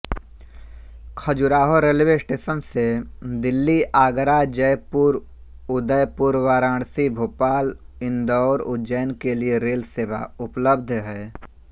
Khajuraho railway station से दिल्लीआगराजयपुरउदयपुरवाराणसीभोपाल इन्दौरउज्जैन के लिए रेल सेवा उपलब्ध है